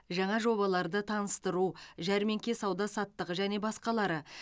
жаңа жобаларды таныстыру жәрмеңке сауда саттығы және басқалары